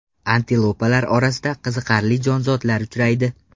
Antilopalar orasida qiziqarli jonzotlar uchraydi.